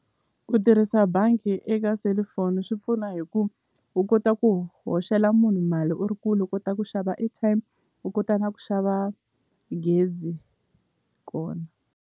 Ku tirhisa bangi eka selufoni swi pfuna hi ku u kota ku hoxela munhu mali u ri kule u kota ku xava airtime u kota na ku xava gezi kona.